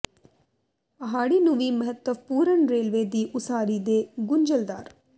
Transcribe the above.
ਪਹਾੜੀ ਨੂੰ ਵੀ ਮਹੱਤਵਪੂਰਨ ਰੇਲਵੇ ਦੀ ਉਸਾਰੀ ਦੇ ਗੁੰਝਲਦਾਰ